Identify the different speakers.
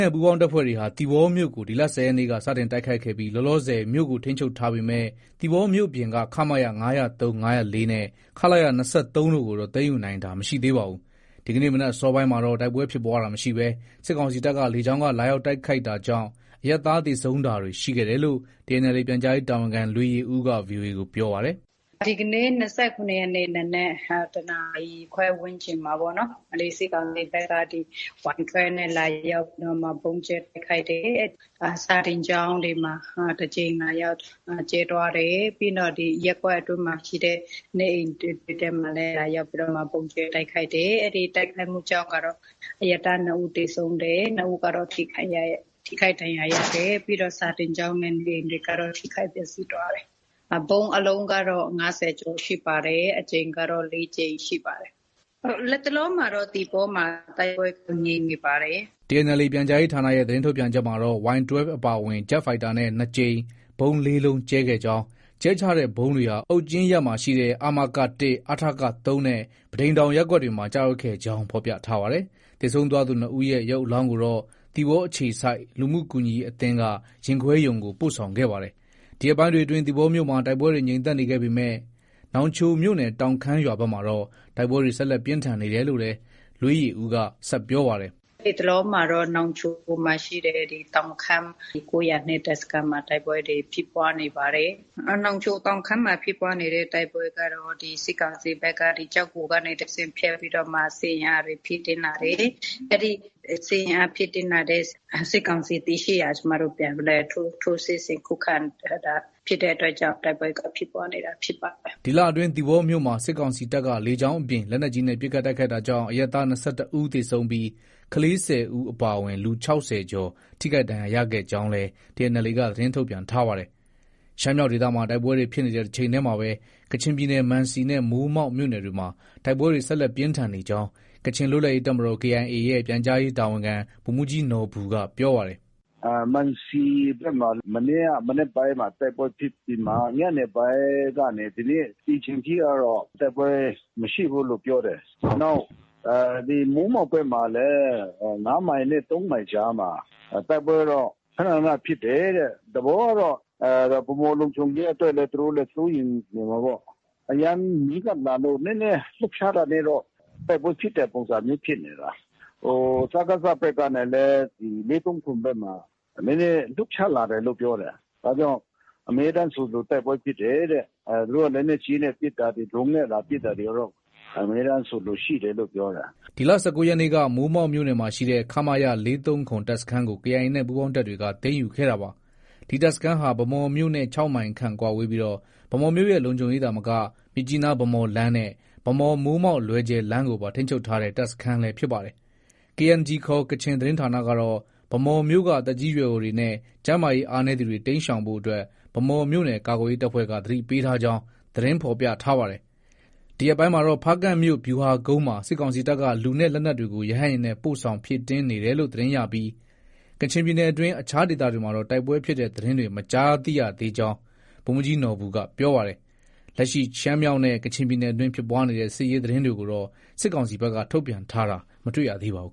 Speaker 1: နဲ့ ပူးပေါင်းတပ်ဖွဲ့တွေဟာ သီပေါမြို့ကို ဒီလ ၁၀ရက်နေ့က စတင်တိုက်ခိုက်ပြီး လောလောဆယ်မြို့ကို ထိန်းချုပ်ထားပေမယ့် သီပေါမြို့ပြင်က ခမရ ၅၀၃၊ ၅၀၄နဲ့ ခလရ ၂၃တို့ကိုတော့ သိမ်းယူနိုင်တာ မရှိသေးပါဘူး။ ဒီကနေ့ မနက်အစောပိုင်းမှာတော့ တိုက်ပွဲဖြစ်ပွားတာ မရှိဘဲ စစ်ကောင်စီတပ်က လေကြောင်းက လာရောက်တိုက်ခိုက်တာကြောင့် အရပ်သား သေဆုံးတာတွေ ရှိခဲ့တယ်လို့ TNLA ပြန်ကြားရေးတာဝန်ခံ လွေးယေဦးက VOA ကို ပြောပါတယ်။
Speaker 2: “ ဒီကနေ့ ၂၇ရက်နေ့ နံနက် ၁နာရီခွဲ ဝန်းကျင်မှာပေါ့နော်။ စစ်ကောင်စီဘက်က Y12 နဲ့ လာရောက်ပြီးတော့မှ ဗုံးကြဲတိုက်ခိုက်တယ်။ စာသင်ကျောင်းတွေမှာ တကြိမ် လာရောက် ကြဲသွားတယ်။ ပြီးရင် ရပ်ကွက်တွေထဲမှာရှိတဲ့ နေအိမ်တွေမှာလည်း လာရောက် ဗုံးကြဲတိုက်ခိုက်တယ်။ အဲဒီတိုက်ခိုက်မှုကြောင့် အရပ်သား ၂ဦး သေဆုံးတယ်။ ၂ဦးကတော့ ထိခိုက်ဒဏ်ရာရတယ်။ ပြီးတော့ စာသင်ကျောင်းနဲ့ နေအိမ်တွေကတော့ ထိခိုက်ပျက်ဆီးသွားတယ်။ ဗုံးအလုံးကတော့ ၅၀ကျော်ရှိပါတယ်။ အကြိမ်ကတော့ ၄ကြိမ် ရှိပါတယ်။ လတ်တလောမှာတော့ သီပေါမှာ တိုက်ပွဲ ငြိမ်နေပါတယ်။
Speaker 1: ” TNLA ပြန်ကြားရေးဌာနရဲ့ သတင်းထုတ်ပြန်ချက်မှာတော့ Y12 အပြင် ဂျက်ဖိုက်တာနဲ့လည်း ၂ကြိမ် ဗုံး ၄လုံးကြဲခဲ့ကြောင်း၊ ကြဲချတဲ့ဗုံးတွေဟာ အုတ်ကျင်းရပ်ရှိ အမက ၁၊ အထက ၃နဲ့ ပန်းတိမ်တောင် ရပ်ကွက်တွေမှာ ကျရောက်ခဲ့ကြောင်း ဖော်ပြထားပါတယ်။ သေဆုံးသွားသူ ၂ဦးရဲ့ ရုပ်အလောင်းကိုတော့ သီပေါအခြေစိုက် လူမှုကူညီရေးအသင်းက ရင်ခွဲရုံကို ပို့ဆောင်ခဲ့ပါတယ်။ ဒီရက်ပိုင်းတွေအတွင်း သီပေါမြို့မှာ တိုက်ပွဲတွေ ငြိမ်သက်နေပေမဲ့ နောင်ချိုမြို့နယ်၊ တောင်ခမ်းရွာဘက်မှာတော့ တိုက်ပွဲတွေ ဆက်လက် ပြင်းထန်နေတယ်လို့လည်း လွေးယေဦးက ဆက်ပြောပါတယ်။
Speaker 2: “ ဒီတလောမှာတော့ နောင်ချိုမှာရှိတဲ့ တောင်ခမ်း ၉၀၂ တပ်စခန်းမှာ တိုက်ပွဲတွေ ဖြစ်ပွားနေပါတယ်။ နောင်ချို တောင်ခမ်းမှာ ဖြစ်ပွားနေတဲ့ တိုက်ပွဲကတော့ စစ်ကောင်စီဘက်က ကျောက်ဂူကနေ ဖြတ်ပြီးတော့မှ စစ်အင်အားတွေ ဖြည့်တင်းလာတယ်။ အဲဒီ စစ်အင်အားဖြည့်တင်းလာတဲ့ စစ်ကောင်စီတည်ရှိရာကို ကျမတို့ ပြန်လည်ထိုးစစ်ဆင် ခုခံ တိုက်တာဖြစ်တဲ့အတွက်ကြောင့် တိုက်ပွဲက ဖြစ်ပွားနေတာ ဖြစ်ပါတယ
Speaker 1: ်။” ဒီလအတွင်း သီပေါမြို့မှာ စစ်ကောင်စီတပ်က လေကြောင်းအပြင် လက်နက်ကြီးနဲ့ ပစ်ခတ်တိုက်ခိုက်တာကြောင့် အရပ်သား ၂၁ဦးသေဆုံးပြီး ကလေး ၁၀ဦးအပါအဝင် လူ ၆၀ကျော် ထိခိုက်ဒဏ်ရာရခဲ့ကြောင်းလည်း TNLA က သတင်းထုတ်ပြန်ထားပါတယ်။ ရှမ်းမြောက်ဒေသမှာ တိုက်ပွဲတွေ ဖြစ်နေတဲ့တချိန်တည်းမှာပဲ ကချင်ပြည်နယ် မံစီနဲ့ မိုးမောက်မြို့နယ်တွေမှာ တိုက်ပွဲတွေ ဆက်လက် ပြင်းထန်နေကြောင်း ကချင်လွတ်လပ်ရေးတပ်မတော် KIA ရဲ့ ပြန်ကြားရေးတာဝန်ခံ ဗိုလ်မှုးကြီးနော်ဘူက ပြောပါတယ်
Speaker 3: ။ “ မံစီဘက်မှာ မနေ့ကမနက်က တိုက်ပွဲဖြစ်ပြီးမှာ ညနေပိုင်းကနေ ဒီနေ့ ဒီအချိန်ထိကတော့ တိုက်ပွဲမရှိဘူးလို့ ပြောတယ်။ နောက် ဒီ မိုးမောက်ဘက်မှာလည်း ၅မိုင်နဲ့ ၃မိုင်ကြားမှာ တိုက်ပွဲကတော့ ခန ခန ဖြစ်တယ်တဲ့။ သဘောကတော့ ဗန်းမော်လုံခြုံရေးအတွက်လည်း သူတို့ကတော့ စိုးရိမ်လို့ နေမှာပေါ့။ အရမ်းနီးကပ်လာလို့ နည်းနည်း လှုပ်ရှားတာနဲ့တော့ တိုက်ပွဲဖြစ်တဲ့ပုံစံမျိုး ဖြစ်နေတာ။ ဟို စကစ ဘက်ကနဲ့လည်း ၄၃၇ ဘက်မှာ နည်းနည်း လှုပ်ရှားလာတယ်လို့ ပြောတယ်။ ဒါကြောင့် အမြဲတမ်းဆိုသလို တိုက်ပွဲဖြစ်တယ်တဲ့။ သူတို့က လက်နက်ကြီးနဲ့ ပစ်တာတွေ၊ ဒရုန်းနဲ့ လာပစ်တာတွေကတော့ အမြဲတမ်းဆိုသလို ရှိတယ်လို့ ပြောတယ်။
Speaker 1: ” ဒီလ ၁၉ရက်နေ့က မိုးမောက်မြို့နယ်ရှိ ခမရ ၄၃၇ တပ်စခန်းကို KIA နဲ့ ပူးပေါင်းတပ်တွေက သိမ်းယူခဲ့တာပါ။ ဒီတပ်စခန်းဟာ ဗန်းမော်မြို့နဲ့ ၆မိုင်ခန့်သာကွာဝေးပြီး ဗန်းမော်မြို့ ရဲ့ လုံခြုံရေးသာမက မြစ်ကြီးနား-ဗန်းမော်လမ်းနဲ့ ဗန်းမော်-မိုးမောက်-လွယ်ဂျယ် လမ်းကိုပါ ထိန်းချုပ်ထားတဲ့ တပ်စခန်းလည်း ဖြစ်ပါတယ်။ KNG ခေါ် ကချင်သတင်းဌာနကတော့ ဗန်းမော်မြို့က သက်ကြီးရွယ်အိုတွေနဲ့ ကျန်းမာရေး အားနည်းသူတွေ တိမ်းရှောင်နေဖို့အတွက် ဗန်းမော်မြို့နယ် ကာကွယ်ရေးတပ်ဖွဲ့က သတိပေးထားကြောင်း သတင်းဖော်ပြထား ပါတယ်။ ဒီရက်ပိုင်းမှာတော့ ဖားကန့်မြို့ ဗျူဟာကုန်းမှာ စစ်ကောင်စီဘက်က လူနဲ့ လက်နက်တွေကို ရဟတ်ယာဉ်နဲ့ ပို့ဆောင်ဖြည့်တင်း နေတယ်လို့ သတင်းရပြီး ကချင်ပြည်နယ်အတွင်း အခြားဒေသတွေမှာတော့ တိုက်ပွဲဖြစ်တဲ့ သတင်းတွေ မကြားသိရကြောင်း ဗိုလ်မှုးကြီးနော်ဘူက ပြောပါတယ်။ လက်ရှိ ရှမ်းမြောက်နဲ့ ကချင်ပြည်နယ်အတွင်း ဖြစ်ပွားနေတဲ့ စစ်ရေးသတင်းတွေကိုတော့ စစ်ကောင်စီဘက်က ထုတ်ပြန်ထားတာ မတွေ့ရပါဘူး